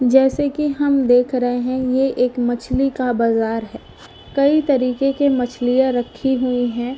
जैसे कि हम देख रहे हैं ये एक मछली का बाजार है कई तरीके के मछलियां रखी हुई हैं।